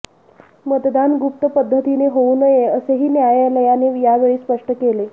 मतदान गुप्त पध्दतीने होऊ नये असेही न्यायालयाने यावेळी स्पष्ट केले